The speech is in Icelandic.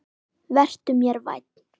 Vertu mér vænn